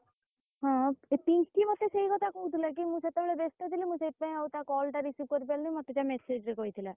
ହଁ ପିଙ୍କି ମତେ ସେଇ କଥା କହୁଥିଲା କି ମୁଁ ସେତବେଳେ ବ୍ୟସ୍ତ ଥିଲି ମୁଁ ସେଇଥି ପାଇଁ ଆଉ ତା call ଟା receive କରିପାରିଲିନି ମତେ ସେ message ରେ କହିଥିଲା।